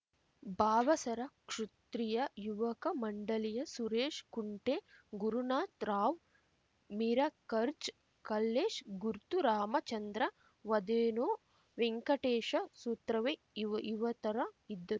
ಭಾವಸರ ಕ್ಷುತ್ರಿಯ ಯುವಕ ಮಂಡಳಿಯ ಸುರೇಶ್ ಕುಂಟೆ ಗುರುನಾಥ ರಾವ್‌ ಮಿರಕರ್ಜ್ ಕಲ್ಲೇಶ್ ಗುರ್ತು ರಾಮಚಂದ್ರ ವದೇನೋ ವೆಂಕಟೇಶ ಸುತ್ರವೆ ಇವ ಇವತರ ಇದ್ದರು